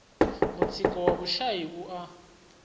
mutsiko wa vhushai u a